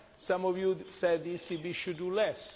some of you said the ECB should do less.